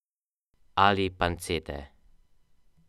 Centrala.